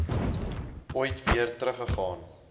ooit weer teruggegaan